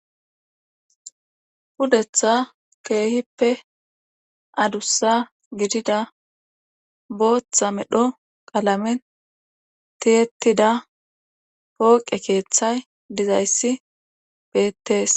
Pudeththa keehippe adussa gidida, booththa medho qalamen tiyetida pooqe keeththay dizayssi betees.